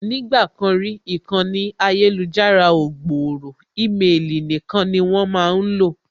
Nígbà kan rí, ìkànnì ayélujára ò gbòòrò ímelì nīkan ni wón máá lò